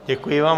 Děkuji vám.